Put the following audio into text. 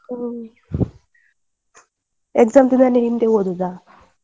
ಹ್ಮ್, exam ದಿನನೇ ಹಿಂದೆ ಓದೋದ.